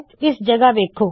ਇਸ ਜਗਹ ਵੇੱਖੋ